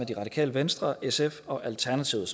af radikale venstre sf og alternativet